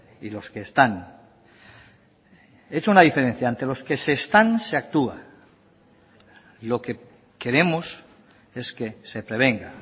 y los que están he hecho una diferencia ante los que se están se actúa lo que queremos es que se prevenga